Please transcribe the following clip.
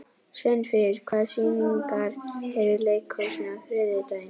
Sveinfríður, hvaða sýningar eru í leikhúsinu á þriðjudaginn?